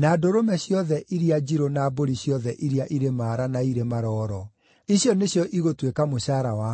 na ndũrũme ciothe iria njirũ na mbũri ciothe iria irĩ maara na irĩ maroro. Icio nĩcio igũtuĩka mũcaara wakwa.